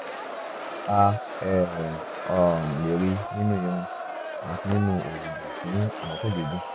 a um um lè rí i nínú irun àti nínú òógùn fún àkókò gígùn